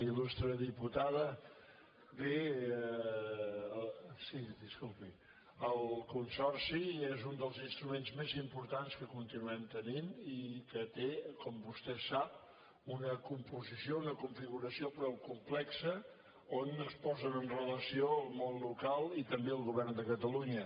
il·lustre diputada bé el consorci és un dels instruments més importants que continuem tenint i que té com vostè sap una composició una configuració prou complexa on es posen en relació el món local i també el govern de catalunya